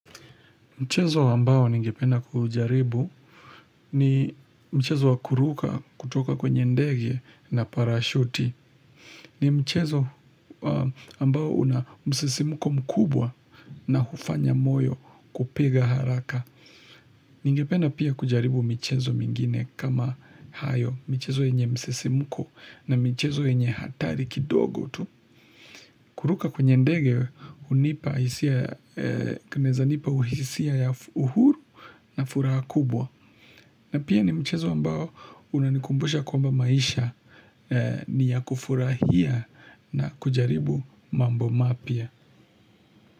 Mchezo ambao ningependa kujaribu ni mchezo wa kuruka kutoka kwenye ndege na parachuti. Ni mchezo ambao una msisimuko mkubwa na hufanya moyo kupiga haraka. Ningependa pia kujaribu michezo mingine kama hayo. Michezo yenye msisimuko na michezo yenye hatari kidogo tu. Kuruka kwenye ndege, kunaeza nipauhisia ya uhuru na furaha kubwa. Na pia ni mchezo ambao unanikumbusha kwamba maisha ni ya kufurahia na kujaribu mambo mapya.